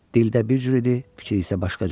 Dildə bir cür idi, fikri isə başqa cür.